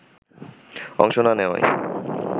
অংশ না নেওয়ায়